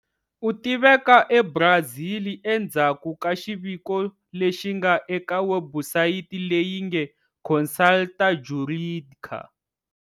U tiveka eBrazil endzhaku ka xiviko lexi nga eka webusayiti leyi nge Consultor Jurídica.